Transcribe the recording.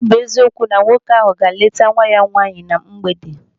Ọ bụ eziokwu na nwoke ahụ ga-leeta nwa ya nwaanyị na mgbede.